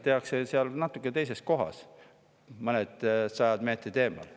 Otsused tehakse natuke teises kohas, mõnisada meetrit eemal.